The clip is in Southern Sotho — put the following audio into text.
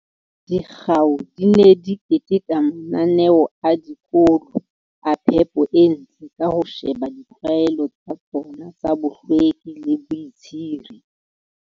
Dikgao di ne di keteka mananeo a dikolo a phepo e ntle ka ho sheba ditlwaelo tsa tsona tsa bohlweki le boitshire.